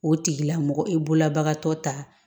O tigila mɔgɔ e bolobagatɔ ta